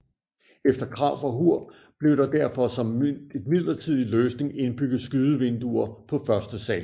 Efter krav fra HUR blev der derfor som et midlertidig løsning indbygget skydevinduer på første sal